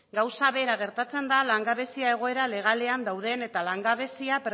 gauza bera gertatzen da langabezia egoera legalean dauden eta langabezia